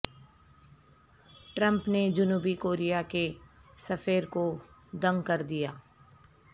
Trump نے جنوبی Korea کے سفیر کو دنگ کر دیا